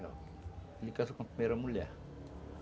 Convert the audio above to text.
Ele casou com a primeira mulher.